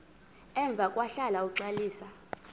emva kwahlala uxalisa